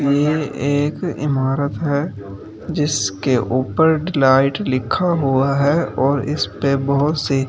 यह एक इमारत है जिसके ऊपर डिलाइट लिखा हुआ है और इस पे बहुत सी--